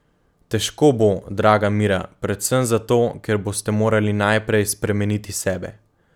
Težko bo, draga Mira, predvsem zato, ker boste morali najprej spremeniti sebe.